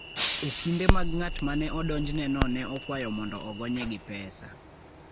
Okinde mag ng'at ma ne odonjneno ne okwayo mondo ogonye gi pesa.